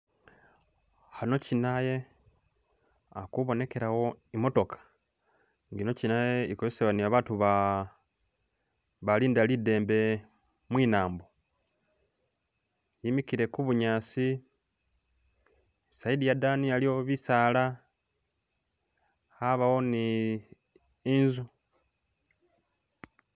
Ano alikubonekelawo imotoka nga ikozesebwa ni babantu abalinda lidembe mwinambo. Yimikile ku bunyasi isayidi yadani waliwo bisala yabawo ninzu.